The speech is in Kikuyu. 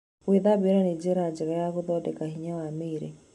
Gũthambĩra nĩ njĩra njega ya gũthondeka hinya wa mĩĩrĩ.